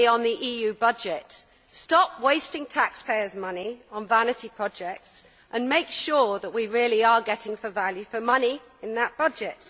Firstly on the EU budget stop wasting taxpayers' money on vanity projects and make sure that we really are getting value for money in that budget